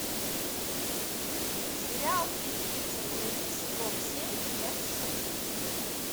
сериал две девицы на мели сезон семь часть шесть